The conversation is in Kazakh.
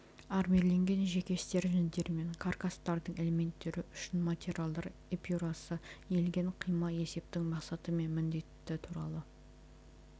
армирленген жеке стерженьдер мен каркастардың элементтері үшін материалдар эпюрасы иілген қима есептің мақсаты мен міндеті туралы